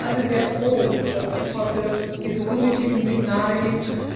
Ich glaube, wir sind alle sehr froh, dass es heute diese positiven Signale gibt.